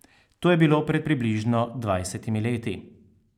To je bilo pred približno dvajsetimi leti.